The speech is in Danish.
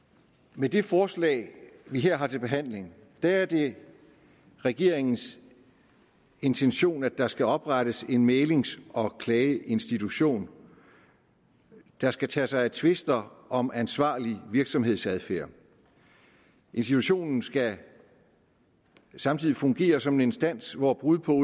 med det forslag vi her har til behandling er er det regeringens intention at der skal oprettes en mæglings og klageinstitution der skal tage sig af tvister om ansvarlig virksomhedsadfærd institutionen skal samtidig fungere som en instans hvor brud på